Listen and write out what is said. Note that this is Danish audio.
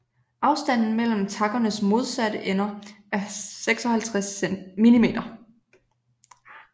Afstanden mellem takkernes modsatte ender er 56 mm